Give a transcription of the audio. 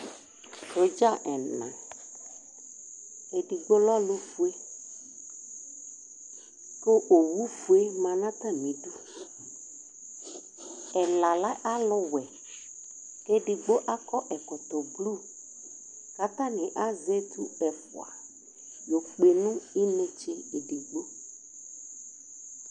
Sɔdza ɛna Edigbo lɛ ɔlʋfie, kʋ owufue ma nʋ atamidu Ɛla lɛ aluwɛ, kʋ edigbo akɔ ɛkɔtɔ blu, kʋ atani azɛ etu ɛfʋa yo kpe nʋ inetse edigbo